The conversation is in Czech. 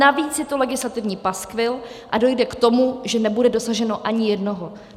Navíc je to legislativní paskvil a dojde k tomu, že nebude dosaženo ani jednoho.